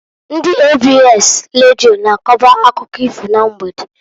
Ndị ABS Radio na-akoba akụkọ ifo na mgbede.